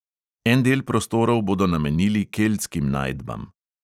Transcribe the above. En del prostorov bodo namenili keltskim najdbam.